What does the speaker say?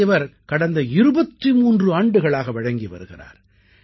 இதை இவர் கடந்த 23 ஆண்டுகளாக வழங்கி வருகிறார்